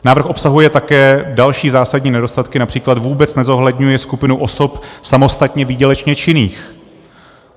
Návrh obsahuje také další zásadní nedostatky, například vůbec nezohledňuje skupinu osob samostatně výdělečně činných.